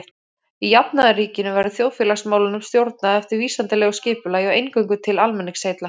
Í jafnaðarríkinu verður þjóðfélagsmálunum stjórnað eftir vísindalegu skipulagi og eingöngu til almenningsheilla.